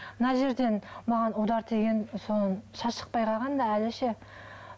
мына жерден маған удар тиген соны шаш шықпай қалған да әлі ше